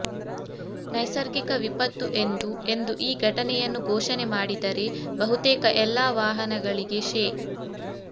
ನೈಸರ್ಗಿಕ ವಿಪತ್ತು ಎಂದು ಎಂದು ಈ ಘಟನೆಯನ್ನು ಘೋಷಣೆ ಮಾಡಿದರೆ ಬಹುತೇಕ ಎಲ್ಲಾ ವಾಹನಗಳಿಗೆ ಶೇ